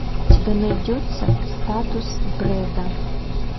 у тебя найдется статус брэда